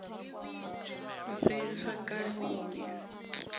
u fheliswa kale u ya